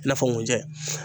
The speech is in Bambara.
I n'a fɔ nkunjɛ.